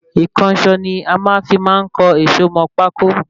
Ìkànsó ni a fí máa ń kan èsó mọ pákó